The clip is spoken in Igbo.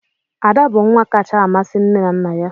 Ada bụ nwa kacha amasị nne na nna ya.